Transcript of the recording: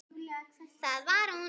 Það var hún.